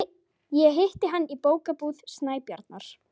Ég hitti hann í Bókabúð Snæbjarnar.